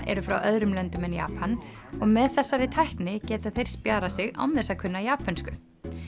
eru frá öðrum löndum en Japan og með þessari tækni geta þeir spjarað sig án þess að kunna japönsku